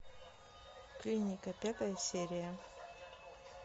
клиника пятая серия